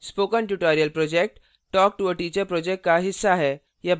spoken tutorial project talktoateacher project का हिस्सा है